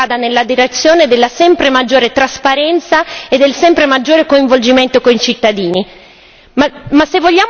E per questo è essenziale che si vada nella direzione della sempre maggiore trasparenza e del sempre maggiore coinvolgimento con i cittadini.